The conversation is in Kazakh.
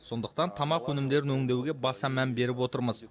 сондықтан тамақ өнімдерін өңдеуге баса мән беріп отырмыз